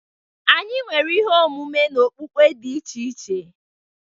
Anyi nwere ihe omume na okpukpe dị iche iche.